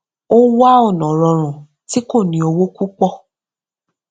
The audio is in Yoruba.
ó wá ònà rọrùn tí kò ní owó púpọ